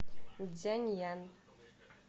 цзяньян